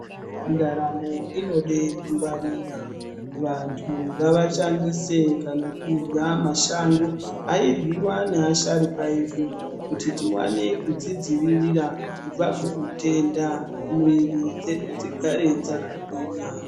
Ndaramo inode kungwarira. Vantu ngavashandise kana kurya mashango airyiwa neasharukwa edu kuti kuti tiwane kuzvidzivirira kubva kuhutenda mwiri dzedu dzigare dzakagwinya.